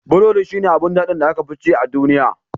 Burodi shi ne abin daɗin da aka fi ci a duniya.